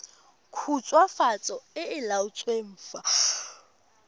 khutswafatso e e laotsweng fa